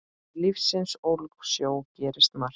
Í lífsins ólgusjó gerist margt.